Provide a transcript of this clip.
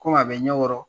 Ko a bɛ ɲɛ kɔrɔ